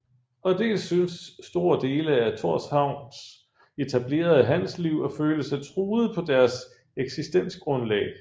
Og dels syntes store dele af Thorshavns etablerede handelsliv at føle sig truet på deres eksistensgrundlag